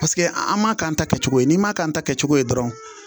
Paseke an m'a k'an ta kɛ cogo ye n'i m'a k'an ta kɛ cogo ye dɔrɔn